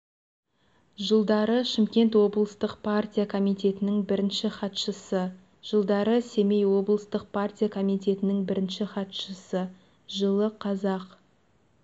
жылдары шымкент облыстық партия комитетінің бірінші хатшысы жылдары семей облыстық партия комитетінің бірінші хатшысы жылы қазақ